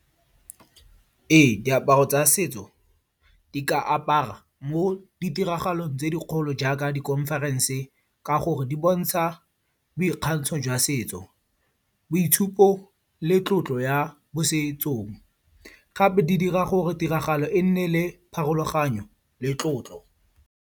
Ee, diaparo tsa setso di ka apara mo ditiragalong tse dikgolo jaaka di conference-e ka gore di bontsha boikgantsho jwa setso, boitshupo le tlotlo ya mo setsong. Gape di dira gore tiragalo e nne le pharologanyo le tlotlo.